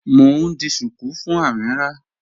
Mọ̀ n ḍì shuku fún Amīrah